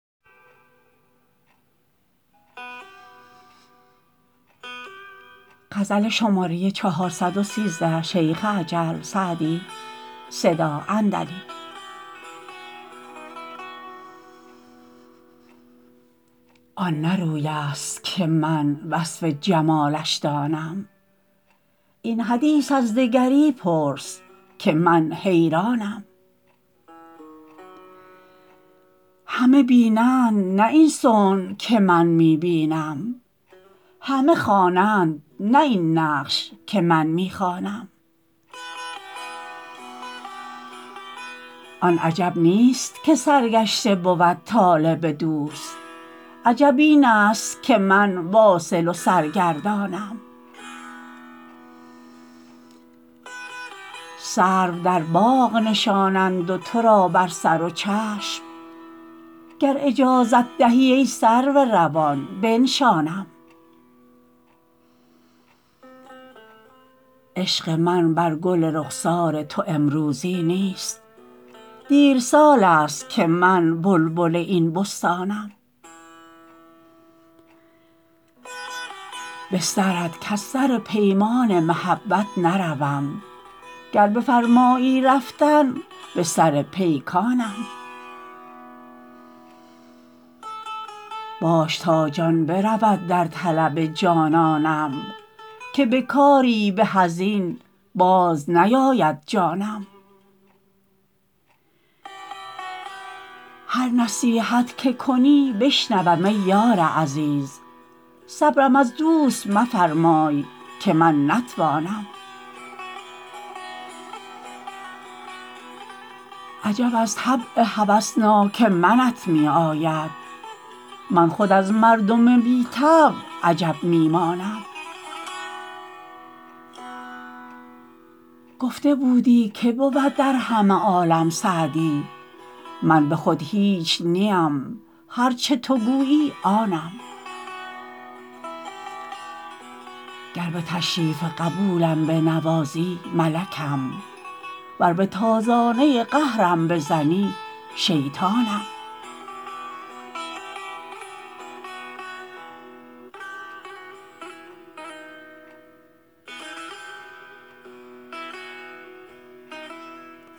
آن نه روی است که من وصف جمالش دانم این حدیث از دگری پرس که من حیرانم همه بینند نه این صنع که من می بینم همه خوانند نه این نقش که من می خوانم آن عجب نیست که سرگشته بود طالب دوست عجب این است که من واصل و سرگردانم سرو در باغ نشانند و تو را بر سر و چشم گر اجازت دهی ای سرو روان بنشانم عشق من بر گل رخسار تو امروزی نیست دیر سال است که من بلبل این بستانم به سرت کز سر پیمان محبت نروم گر بفرمایی رفتن به سر پیکانم باش تا جان برود در طلب جانانم که به کاری به از این باز نیاید جانم هر نصیحت که کنی بشنوم ای یار عزیز صبرم از دوست مفرمای که من نتوانم عجب از طبع هوسناک منت می آید من خود از مردم بی طبع عجب می مانم گفته بودی که بود در همه عالم سعدی من به خود هیچ نیم هر چه تو گویی آنم گر به تشریف قبولم بنوازی ملکم ور به تازانه قهرم بزنی شیطانم